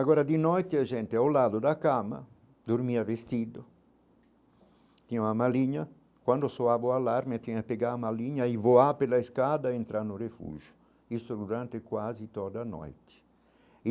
Agora de noite a gente é ao lado da cama, dormia vestido, tinha uma malinha, quando soava o alarme tinha pegado a malinha e voava pela escada entrando no refugio, isso durante quase toda a noite.